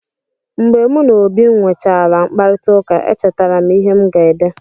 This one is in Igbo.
Mgbe mụ na Obi nwechaala mkparịtaụka, echetara m ihe m ga-ede.